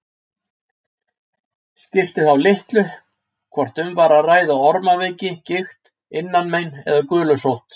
Skipti þá litlu hvort um var að ræða ormaveiki, gigt, innanmein eða gulusótt.